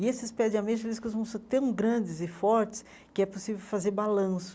E esses pés de ameixa, eles costumavam ser tão grandes e fortes que é possível fazer balanço.